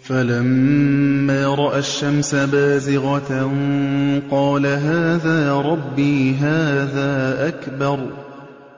فَلَمَّا رَأَى الشَّمْسَ بَازِغَةً قَالَ هَٰذَا رَبِّي هَٰذَا أَكْبَرُ ۖ